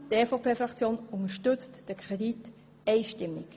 Fazit: Die EVP-Fraktion unterstützt diesen Kredit einstimmig.